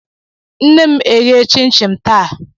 Nne m eghe chin chin taa.